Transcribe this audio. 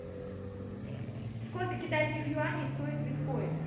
сколько китайских юаней стоит биткоин